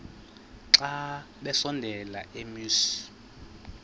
xa besondela emasuie